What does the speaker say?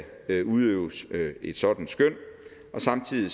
udøves et sådant skøn samtidig